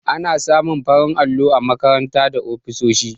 Ana samun farin allo a makarant da ofisoshi.